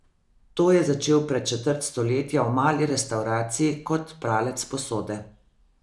To je začel pred četrt stoletja v mali restavraciji kot pralec posode.